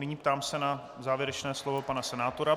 Nyní se ptám na závěrečné slovo pana senátora.